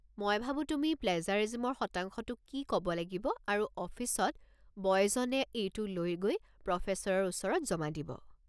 মই ভাবো তুমি প্লেজাৰিজিমৰ শতাংশটো কি ক'ব লাগিব আৰু অফিচত বয়জনে এইটো লৈ গৈ প্ৰফেছৰৰ ওচৰত জমা দিব।